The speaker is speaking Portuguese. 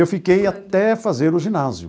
Eu fiquei até fazer o ginásio.